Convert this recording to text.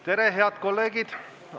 Tere, head kolleegid!